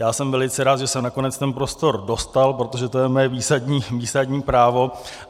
Já jsem velice rád, že jsem nakonec ten prostor dostal, protože to je moje výsadní právo.